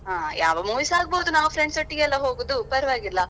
ಹಾ ಯಾವ movies ಆಗ್ಬೋದು ನಾವು friends ಒಟ್ಟಿಗೆ ಅಲ್ವಾ ಹೋಗುದು ಪರ್ವಾಗಿಲ್ಲ.